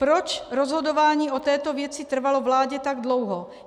Proč rozhodování o této věci trvalo vládě tak dlouho?